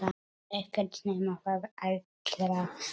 Ekkert nema það allra besta.